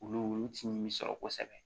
Olu ti min sɔrɔ kosɛbɛ